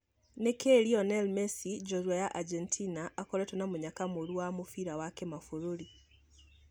Nĩkĩ Lionel Messi, jorua ya Angemtina akoretwo na mũnyaka mũrũ wa mũbira wa kĩmaburũri.